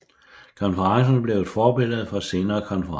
Konferencen blev et forbillede for senere konferencer